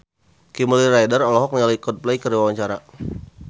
Kimberly Ryder olohok ningali Coldplay keur diwawancara